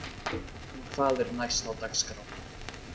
En hvað er næst á dagskrá?